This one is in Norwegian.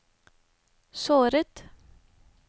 såret